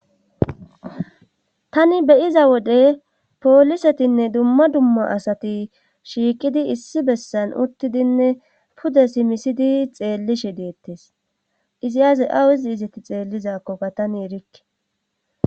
tani beyiza wode poolisetinne dumma dumma asati shiiqidi issi bessan uttidinne pudesi misidi xeellishe deettes izi aaze awuizi izeti xeellizakkokka tani erikke